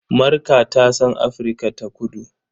Marka ta san Afirka-ta-kudu.